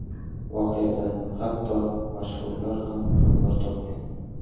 Voqeadan hatto mashhurlar ham xabar topgan.